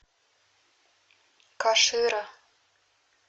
кашира